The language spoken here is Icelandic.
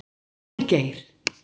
Hólmgeir